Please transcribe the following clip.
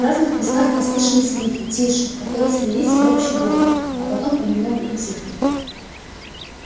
в разных местах послышались крики тише которые слились в общий гомон а потом понемногу утихли